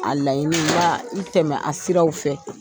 A laɲiniba i tɛmɛ a sira fɛ